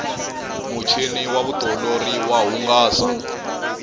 muchini wa vutiolori wa hungasa